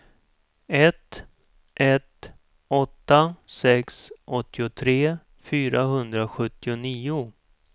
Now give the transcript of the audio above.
ett ett åtta sex åttiotre fyrahundrasjuttionio